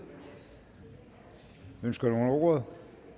ønsker nogen ordet